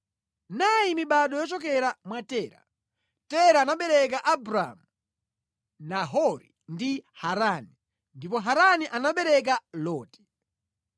Nayi mibado yochokera mwa Tera. Tera anabereka Abramu, Nahori ndi Harani. Ndipo Harani anabereka Loti.